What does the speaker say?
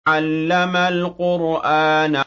عَلَّمَ الْقُرْآنَ